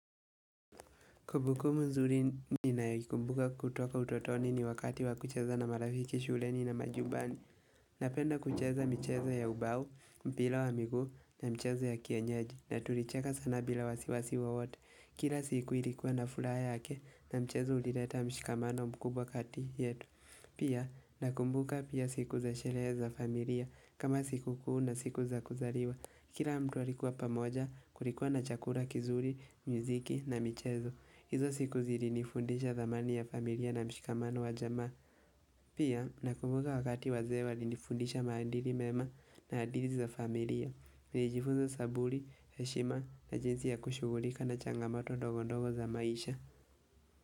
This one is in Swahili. Kumbukumbu mzuri ninayoikumbuka kutoka utotoni ni wakati wa kucheza na marafiki shuleni na majumbani. Napenda kucheza michezo ya ubao, mpira wa miguu na mchezo ya kienyeji na tulicheka sana bila wasiwasi wowote. Kira siku ilikuwa na furaha yake na mchezo ulileta mshikamano mkubwa kati yetu. Pia nakumbuka pia siku za sherehe za familia kama siku kuu na siku za kuzaliwa. Kila mtu alikuwa pamoja kulikuwa na chakula kizuri, mziki na michezo. Izo siku zilinifundisha thamani ya familia na mshikamano wa jamaa. Pia, nakumbuka wakati wazee walinifundisha maandili mema na adili za familia. Nilijifunza saburi, heshima na jinsi ya kushughulika na changamato ndogo ndogo za maisha.